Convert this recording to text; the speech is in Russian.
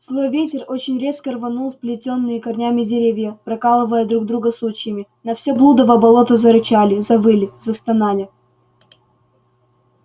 злой ветер очень резко рванул сплетённые корнями деревья прокалывая друг друга сучьями на все блудово болото зарычали завыли застонали